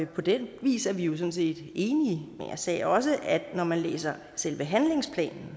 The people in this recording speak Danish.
på den vis er vi jo sådan set enige men jeg sagde også at når man læser selve handlingsplanen